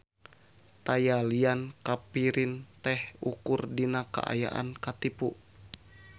Taya lian kapirin teh ukur dina kaayaan katipu.